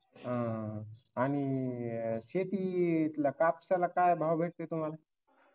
हा आणि शेती कापताना काय भाव भेटतो तुम्हाला